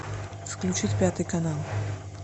включи пятый канал